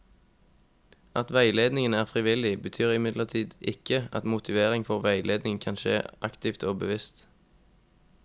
At veiledningen er frivillig, betyr imidlertid ikke at motivering for veiledning ikke kan skje aktivt og bevisst.